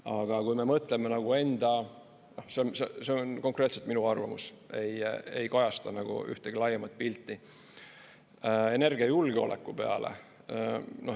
Aga kui me mõtleme nagu enda – see on konkreetselt minu arvamus, ei kajasta ühtegi laiemat pilti – energiajulgeoleku peale.